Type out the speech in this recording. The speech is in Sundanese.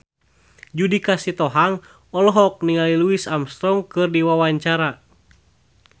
Judika Sitohang olohok ningali Louis Armstrong keur diwawancara